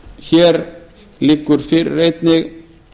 hér liggur fyrir einnig